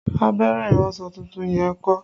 Abẹ́rẹ́ iransọ tuntun yẹn ń kọ́?